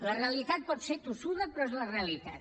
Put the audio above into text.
la realitat pot ser tossuda però és la realitat